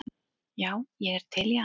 Já, ég er til í allt